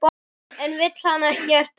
En vill hann ekkert útiloka?